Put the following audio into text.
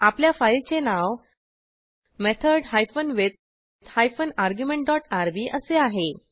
आपल्या फाईलचे नाव method hyphen with hyphen argument dot RB असे आहे